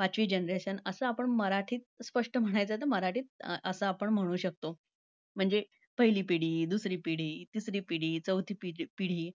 पाचवी generation, असा आपण मराठीत स्पष्ट म्हणायचं तर मराठीत असा आपण म्हणू शकतो. म्हणजे पहिली पिढी, दुसरी पिढी, तिसरी पिढी, चौथी पिद्ध~ पिढी.